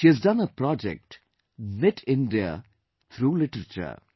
She has done a project Knit India, through literature